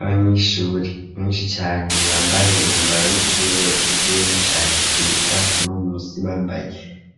Abanyeshuri benshi cane bambaye umwambaro w'ishuri ugizwe n'ishati ryera hamwe munsi bambaye